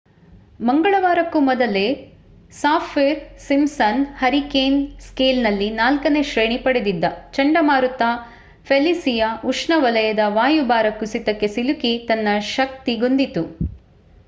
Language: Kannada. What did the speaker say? ಮಂಗಳವಾರಕ್ಕೂ ಮೊದಲೇ ಸಾಫ್ಹಿರ್-ಸಿಮ್‍‌ಸನ್ ಹರಿಕೇನ್ ಸ್ಕೇಲ್‌ನಲ್ಲಿ 4ನೇ ಶ್ರೇಣಿ ಪಡೆದಿದ್ದ ಚಂಡಮಾರುತ ಫೆಲಿಸಿಯಾ ಉಷ್ಣವಲಯದ ವಾಯುಭಾರ ಕುಸಿತಕ್ಕೆ ಸಿಲುಕಿ ತನ್ನ ಶಕ್ತಿಗುಂದಿತ್ತು